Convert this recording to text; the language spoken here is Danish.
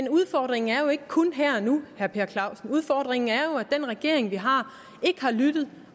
at udfordringen jo ikke kun er her og nu udfordringen er at den regering vi har ikke har lyttet